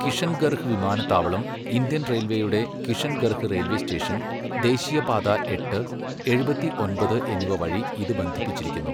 കിഷൻഗർഹ് വിമാനത്താവളം, ഇന്ത്യൻ റെയിൽവേയുടെ Kishangarh railway station, ദേശീയപാത എട്ട്, എഴുപത്തി ഒൻപത് എന്നിവ വഴി ഇത് ബന്ധിപ്പിച്ചിരിക്കുന്നു.